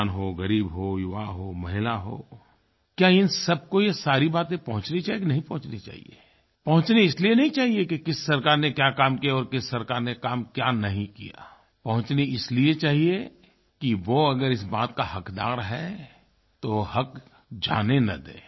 किसान हो ग़रीब हो युवा हो महिला हो क्या इन सबको ये सारी बातें पहुंचनी चाहिये कि नहीं पहुंचनी चाहिये पहुंचनी इसलिये नहीं चाहिये कि किस सरकार ने क्या काम किया और किस सरकार ने काम क्या नहीं किया पहुंचनी इसलिये चाहिए कि वो अगर इस बात का हक़दार है तो हक़ जाने न दे